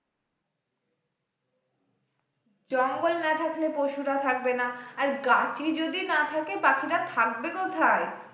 জঙ্গল না থাকলে পশুরা থাকবেনা, গাছই যদি না থাকে পাখিরা থাকবে কোথায়?